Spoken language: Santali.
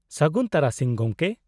-ᱥᱟᱹᱜᱩᱱ ᱛᱟᱨᱟᱥᱤᱧ, ᱜᱚᱢᱠᱮ !